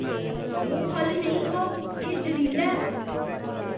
ओह् फल नेईं खाओ। एह् ज्हरीला ऐ।